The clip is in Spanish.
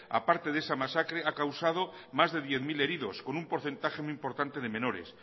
aparte de esa masacre ha causado más de diez mil heridos con un porcentaje muy importante de menores